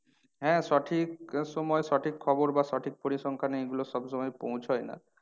হ্যাঁ সঠিক সময় সঠিক খবর বা সঠিক পরিসংখ্যানে এগুলো সব সময় পৌঁছায় না